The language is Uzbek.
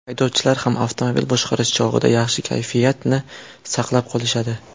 Haydovchilar ham avtomobil boshqarish chog‘ida yaxshi kayfiyatni saqlab qolishadi.